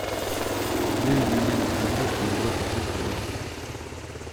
выведи мне на смотрешке европа плюс тв